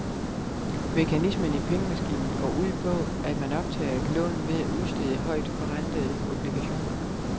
Mekanismen i pengemaskinen går ud på, at man optager et lån ved at udstede højtforentede obligationer.